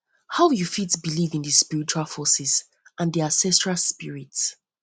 how you fit believe in di spiritual forces and di ancestral spirits